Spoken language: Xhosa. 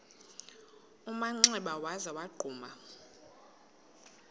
manxeba waza wagquma